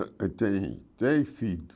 Ah tem três filhos.